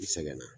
I sɛgɛn na